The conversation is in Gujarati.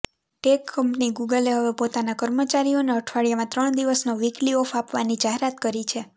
ટેક કંપની ગૂગલે હવે પોતાના કર્મચારીઓને અઠવાડિયામાં ત્રણ દિવસનો વીકલી ઑફ આપવાની જાહેરાત કરી છે